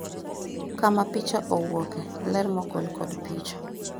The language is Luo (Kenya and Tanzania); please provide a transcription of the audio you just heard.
kama picha owuoke, ler mogol kod picha